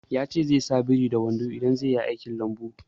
Ya ce zai sa biri da wando in zai yi aiki a lambu